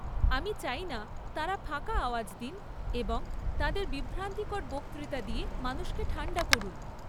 আমি চাইনা তাঁরা ফাঁকা আওয়াজ দিন এবং তাঁদের বিভ্রান্তিকর বক্তৃতা দিয়ে মানুষকে ঠাণ্ডা করুন।